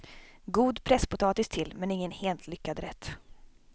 God presspotatis till, men ingen helt lyckad rätt.